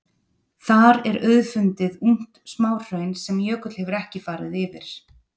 Þar er auðfundið ungt smáhraun sem jökull hefur ekki farið yfir.